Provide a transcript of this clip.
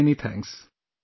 Many many thanks